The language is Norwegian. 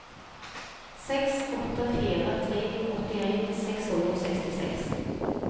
seks åtte fire tre åttien seks hundre og sekstiseks